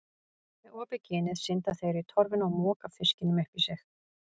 Með opið ginið synda þeir í torfuna og moka fiskinum upp í sig.